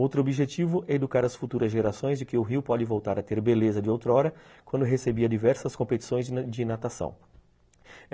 Outro objetivo é educar as futuras gerações de que o rio pode voltar a ter beleza de outrora quando recebia diversas competições de de natação.